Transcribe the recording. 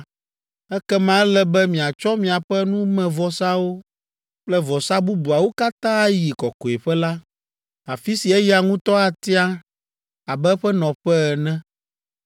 ekema ele be miatsɔ miaƒe numevɔsawo kple vɔsa bubuawo katã ayi kɔkɔeƒe la, afi si eya ŋutɔ atia abe eƒe nɔƒe ene.